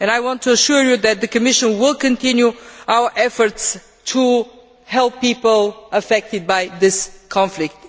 I want to assure you that the Commission will continue its efforts to help people affected by this conflict.